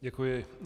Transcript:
Děkuji.